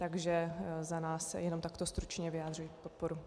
Takže za nás jenom takto stručně vyjadřuji podporu.